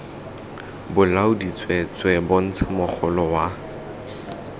bolaodi tsweetswee bontsha mogolo wa